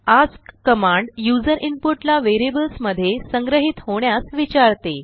ask command user input ला variables मध्ये संग्रहीत होण्यास विचारते